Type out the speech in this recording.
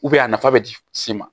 a nafa bɛ di se ma